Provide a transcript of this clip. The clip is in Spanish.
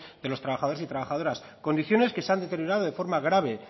de los trabajadores y trabajadoras condiciones que se han deteriorado de forma grave